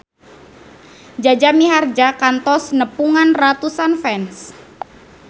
Jaja Mihardja kantos nepungan ratusan fans